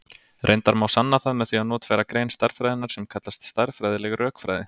Reyndar má sanna það með því að notfæra grein stærðfræðinnar sem kallast stærðfræðileg rökfræði.